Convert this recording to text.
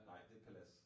Nej, det Palads